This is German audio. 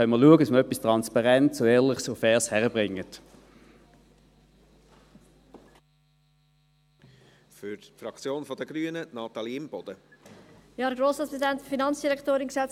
Dann können wir schauen, dass wir etwas Transparentes, Ehrliches und Faires zustande bringen.